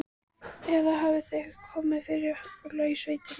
Eða hafði eitthvað komið fyrir Óla í sveitinni?